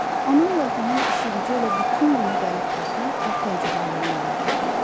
Anamla atamın işi-gücü elə bütün günü gəlib baxmaq və təəccüblənmək olurdu.